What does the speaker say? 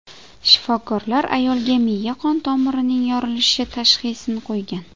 Shifokorlar ayolga miya qon tomirining yorilishi tashxisini qo‘ygan.